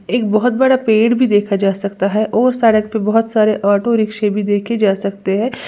एक बहोत बड़ा पेड़ भी देखा जा सकता है और सड़क पे बोहोत सारे ऑटो रिक्शें भी देखे जा सकते हैं।